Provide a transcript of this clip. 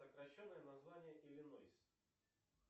сокращенное название иллинойс